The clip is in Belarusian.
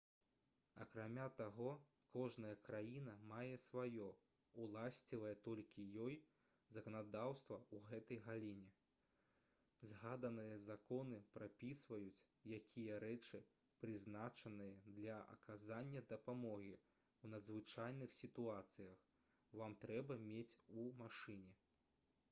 акрамя таго кожная краіна мае сваё уласцівае толькі ёй заканадаўства ў гэтай галіне згаданыя законы прапісваюць якія рэчы прызначаныя для аказання дапамогі ў надзвычайных сітуацыях вам трэба мець у машыне